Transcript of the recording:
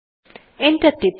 enter টিপুন